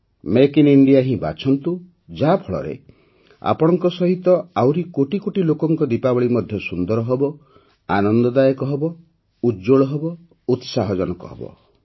make in India ହିଁ ବାଛନ୍ତୁ ଯାହାଫଳରେ ଆପଣଙ୍କ ସହିତ ଆହୁରି କୋଟି କୋଟି ଲୋକଙ୍କ ଦୀପାବଳୀ ମଧ୍ୟ ସୁନ୍ଦର ହେବ ଆନନ୍ଦଦାୟକ ହେବ ଉଜ୍ଜ୍ୱଳ ହେବ ଉତ୍ସାହଜନକ ହେବ